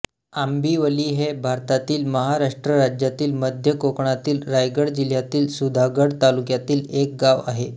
आंबिवली हे भारतातील महाराष्ट्र राज्यातील मध्य कोकणातील रायगड जिल्ह्यातील सुधागड तालुक्यातील एक गाव आहे